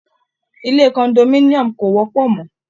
Ile condominium kò wọ́pọ̀ mọ́.